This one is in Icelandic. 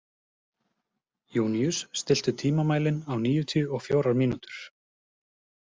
Júníus, stilltu tímamælinn á níutíu og fjórar mínútur.